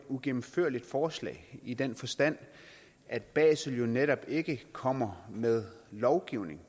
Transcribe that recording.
uigennemførligt forslag i den forstand at basel jo netop ikke kommer med lovgivning